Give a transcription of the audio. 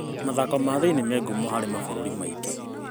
Mathako ma thĩiniĩ me ngumo harĩ mabũrũri maingĩ.